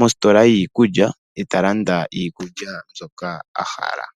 mositola yiikulya etalanda iikulya mbyoka a hala.